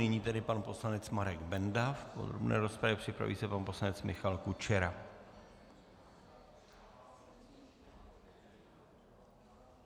Nyní tedy pan poslanec Marek Benda v podrobné rozpravě, připraví se pan poslanec Michal Kučera.